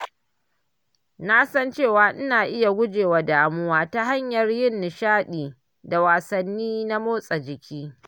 Na san cewa ina iya guje wa damuwa ta hanyar yin nishaɗi da wasanni na motsa jiki.